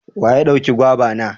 Wa ya dauka gwaiva na?